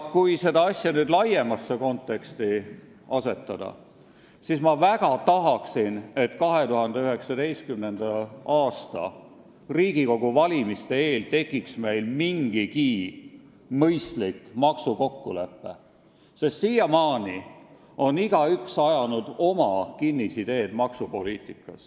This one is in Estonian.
Kui see asi nüüd laiemasse konteksti asetada, siis tahaksin väga, et 2019. aasta Riigikogu valimiste eel tekiks meil mingigi mõistlik maksukokkulepe, sest siiamaani on maksupoliitikas igaüks jäänud oma kinnisidee juurde.